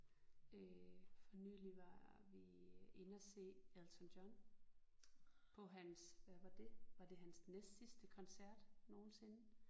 Øh for nylig var vi inde og se Elton John på hans hvad var det var det hans næstsidste koncert nogensinde